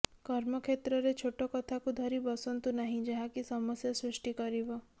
କର୍ମ କ୍ଷେତ୍ରରେ ଛୋଟ କଥାକୁ ଧରି ବସନ୍ତୁ ନାହିଁ ଯାହାକି ସମସ୍ୟା ସୃଷ୍ଟି କରିବ